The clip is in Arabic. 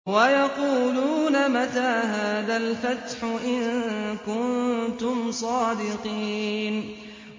وَيَقُولُونَ مَتَىٰ هَٰذَا الْفَتْحُ إِن كُنتُمْ صَادِقِينَ